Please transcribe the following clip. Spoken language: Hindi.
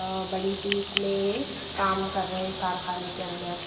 अ बड़ी सी इसमें काम कर रहे हैं कारखाने के अंदर।